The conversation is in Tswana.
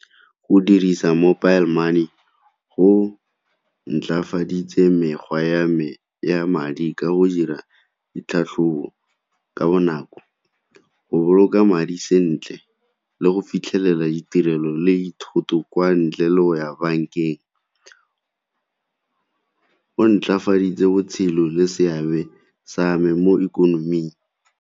Go dirisa mobile money go ntlafaditse mekgwa ya me ya madi ka go dira ditlhatlhobo ka bonako, go boloka madi sentle le go fitlhelela ditirelo le thoto kwa ntle le go ya bankeng. Go ntlafaditse botshelo le seabe sa me mo ikonoming.